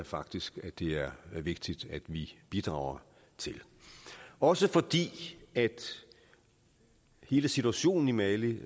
faktisk det er vigtigt at vi bidrager til den også fordi hele situationen i mali